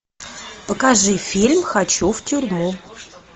покажи фильм хочу в тюрьму